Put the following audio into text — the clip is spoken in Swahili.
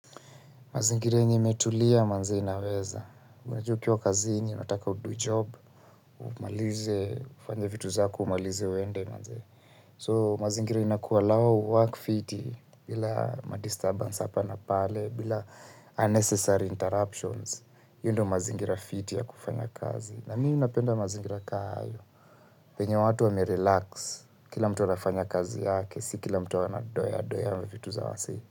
Mazingira yenye imetulia manzee inaweza. Unajuw ukiwa kazini, inataka udo job, umalize, ufanje vitu zake, umalize uende manzee. So, mazingira inaku alloww uwork fiti, bila ma disturbance hapa na pale, bila unnecessary interruptions. Iiyo ndo mazingira fiti ya kufanya kazi. Na mimi napenda mazingira ka iyo, penye watu wame relax, kila mtu anafanya kazi yake, si kila mtu anadoeadoe vitu za wasee.